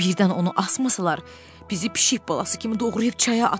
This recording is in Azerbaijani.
Birdən onu asmasalar, bizi pişik balası kimi doğrayıb çaya atar.